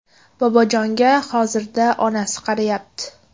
Bobojonga hozirda onasi qarayapti.